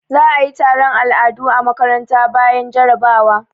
Za a yi taron al'adu a makaranta bayan jarabawa.